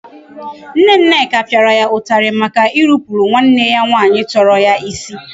Nne Nneka pịara ya ụtalị maka irupuru nwanne ya nwaanyị tọrọ ya isi.